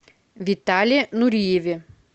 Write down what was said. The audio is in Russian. витале нуриеве